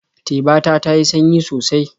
Teba ta ta yi sanyi sosai.